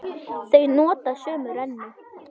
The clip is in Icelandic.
Þau nota sömu rennu.